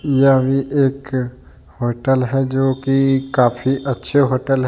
यह भी एक होटल है जो की काफ़ी अच्छी होटल है।